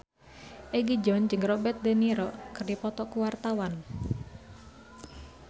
Egi John jeung Robert de Niro keur dipoto ku wartawan